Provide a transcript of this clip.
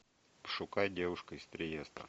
пошукай девушка из триеста